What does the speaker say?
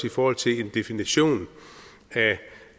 i forhold til en definition